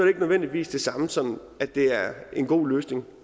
ikke nødvendigvis det samme som at det er en god løsning